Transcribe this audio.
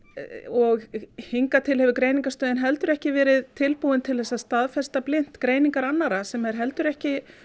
og hingað til hefur Greiningarstöðin heldur ekki verið tilbúin til að staðfesta blint greiningar annarra sem er heldur ekki